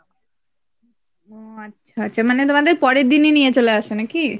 ও আচ্ছা আচ্ছা মানে তোমাদের পরের দিন ই নিয়ে চলে আসে নাকি ?